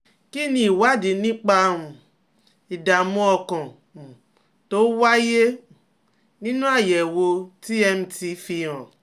Kí ni ìwádìí nípa um ìdààmú ọkàn um tó wáyé um nínú àyẹ̀wò TMT fi hàn?